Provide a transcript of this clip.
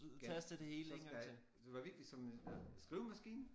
Ja så skal jeg det var virkelig som øh skrivemaskine